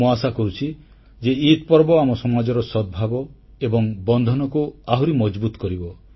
ମୁଁ ଆଶା କରୁଛି ଯେ ଇଦ୍ ପର୍ବ ଆମ ସମାଜର ସଦ୍ଭାବ ଏବଂ ବନ୍ଧନକୁ ଆହୁରି ମଜଭୁତ୍ କରିବ